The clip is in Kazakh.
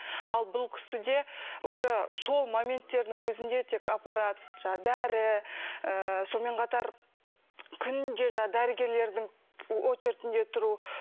ал бұл кісіде уже сол моменттердің өзінде тек аппарат жаңағы дәрі ыыы сонымен қатар күнде жаңағы дәрігерлердің очередінде тұру